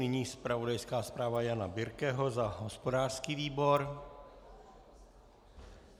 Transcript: Nyní zpravodajská zpráva Jana Birkeho za hospodářský výbor.